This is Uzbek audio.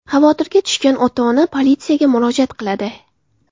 Xavotirga tushgan ota-ona politsiyaga murojaat qiladi.